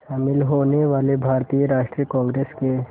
शामिल होने वाले भारतीय राष्ट्रीय कांग्रेस के